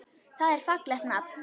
Það er fallegt nafn.